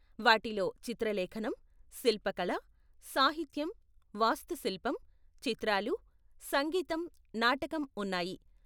వాటిలో చిత్రలేఖనం, శిల్పకళ, సాహిత్యం, వాస్తుశిల్పం, చిత్రాలు, సంగీతం, నాటకం ఉన్నాయి.